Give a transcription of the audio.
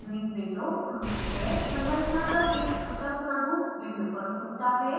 संरचना का एक छोटा प्रारूप विंडो पर खुलता है